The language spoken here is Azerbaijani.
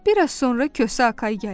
Biraz sonra Kosa Akay gəldi.